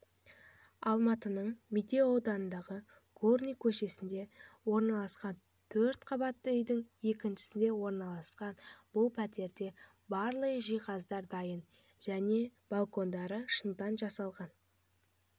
алматының медеу ауданындағы горный көшесінде орналасқан төрт қабатты үйдің екіншісінде орналасқан бұл пәтерде барлық жиһаздары дайын және балкондары шыныдан жасалған